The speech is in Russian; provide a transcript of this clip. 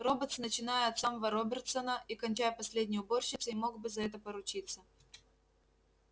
роботс начиная от самого робертсона и кончая последней уборщицей мог бы за это поручиться